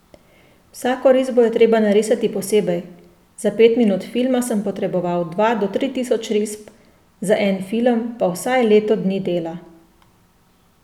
Vsako risbo je treba narisati posebej, za pet minut filma sem potreboval dva do tri tisoč risb, za en film pa vsaj leto dni dela.